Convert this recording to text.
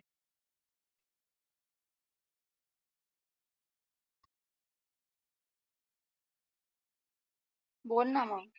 बोलणा मग